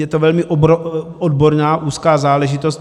Je to velmi odborná úzká záležitost.